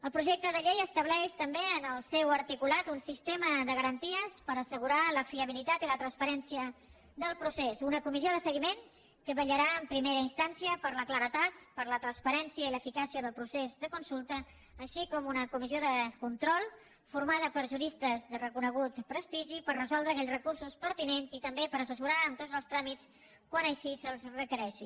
el projecte de llei estableix també en el seu articulat un sistema de garanties per assegurar la fiabilitat i la transparència del procés una comissió de seguiment que vetllarà en primera instància per la claredat per la transparència i l’eficàcia del procés de consulta així com una comissió de control formada per juristes de reconegut prestigi per resoldre aquells recursos pertinents i també per assessorar en tots els tràmits quan així se’ls requereixi